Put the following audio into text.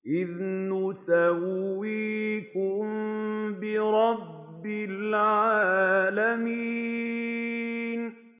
إِذْ نُسَوِّيكُم بِرَبِّ الْعَالَمِينَ